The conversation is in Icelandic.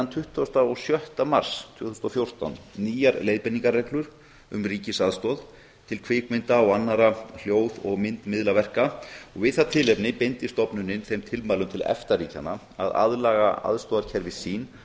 tuttugasta og sjötta mars tvö þúsund og fjórtán nýjar leiðbeiningarreglur um ríkisaðstoð til kvikmynda og annarra hljóð og myndmiðlaverka og við það tilefni beindi stofnunin þeim tilmælum til efta ríkjanna að aðlaga aðstoðarkerfi sín